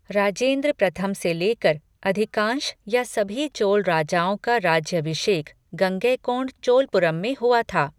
राजेंद्र प्रथम से ले कर अधिकांश या सभी चोल राजाओं का राज्याभिषेक गंगैकोंड चोलपुरम में हुआ था।